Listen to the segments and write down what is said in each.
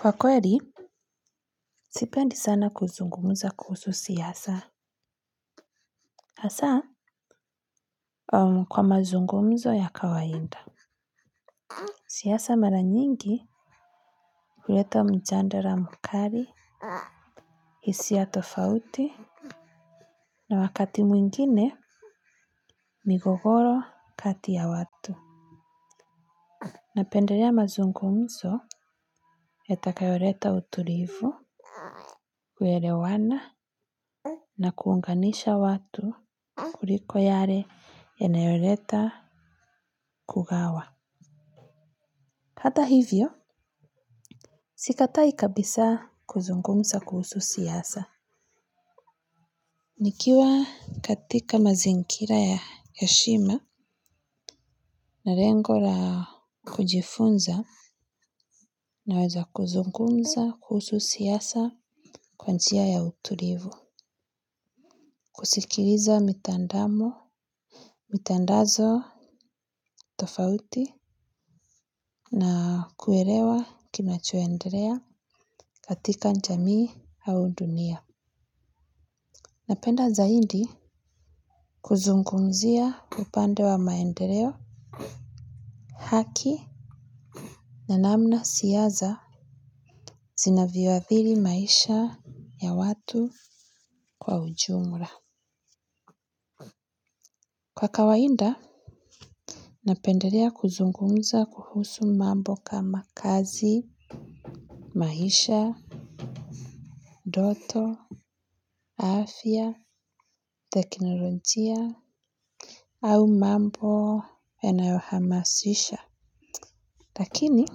Kwa kweli, sipendi sana kuzungumza kuhusu siasa. Hasa, kwa mazungumzo ya kawaida. Siasa mara nyingi huleta mjadala mkali, hisia tofauti, na wakati mwingine migogoro kati ya watu. Napendelea mazungumzo, yatakayoleta utulivu, kuelewana, na kuunganisha watu kuliko yale yanayoleta kugawa. Hata hivyo, sikatai kabisa kuzungumza kuhusu siasa. Nikiwa katika mazingira ya heshima na lengo la kujifunza naweza kuzungumza kuhusu siasa kwa njia ya utulivu. Kusikiliza mitandamo, mitandazo tofauti na kuelewa kinachoendelea katika jamii au dunia. Napenda zaidi kuzungumzia upande wa maendeleo haki na namna siasa zinavyoathiri maisha ya watu kwa ujumla. Kwa kawaida, napendelea kuzungumza kuhusu mambo kama kazi, maisha, ndoto, afya, teknolojia, au mambo yanayohamasisha. Lakini,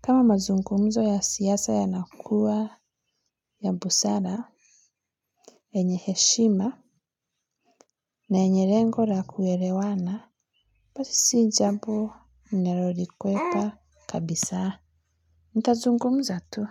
kama mazungumzo ya siasa yanakua ya busara, yenye heshima na yenye lengo na kuelewana, basi si jambo ninalolikwepa kabisa. Nitazungumza tu.